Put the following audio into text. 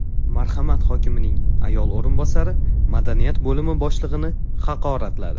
Marhamat hokimining ayol o‘rinbosari madaniyat bo‘limi boshlig‘ini haqoratladi.